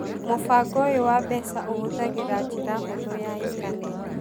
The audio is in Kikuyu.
Mũbango ũyũ wa mbeca ũhũthagĩra njĩra hũthũ ya intaneti